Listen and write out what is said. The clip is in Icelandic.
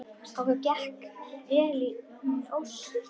Okkur gekk vel inn ósinn.